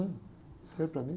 né? Não serve para mim.